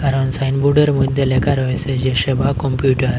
কারণ সাইনবোর্ডের মধ্যে লেখা রয়েছে যে সেবা কম্পিউটার ।